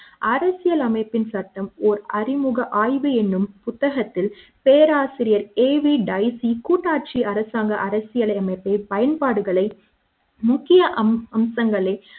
அரசியலமைப்பின் சட்டம் ஓர் அறிமுக ஆய்வு என்னும் புத்தகத்தில் பேராசிரியர் AV டைசி கூட்டாட்சி அரசாங்க அரசியல் அமைப்பை பயன்பாடுகளை முக்கிய அம்சங்களை